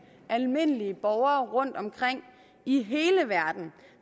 almindelige borgere rundtomkring i hele verden